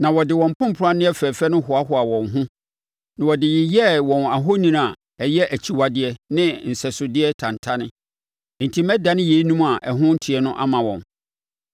Na wɔde wɔn mpompranneɛ fɛfɛ no hoahoa wɔn ho, na wɔde yeyɛɛ wɔn ahoni a ɛyɛ akyiwadeɛ ne nsɛsodeɛ tantane; enti mɛdane yeinom a ɛho nteɛ ama wɔn.